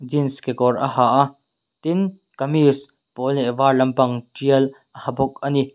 jeans kekawr a ha a tin kamis pawl leh var lampang thial a ha bawk ani.